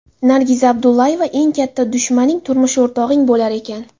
Nargiza Abdullayeva: Eng katta dushmaning turmush o‘rtog‘ing bo‘lar ekan.